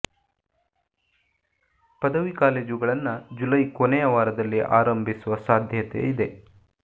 ಪದವಿ ಕಾಲೇಜುಗಳನ್ನ ಜುಲೈ ಕೊನೆಯ ವಾರದಲ್ಲಿ ಆರಂಭಿಸುವ ಸಾಧ್ಯತೆ ಇದೆ